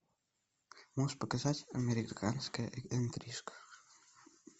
можешь показать американская интрижка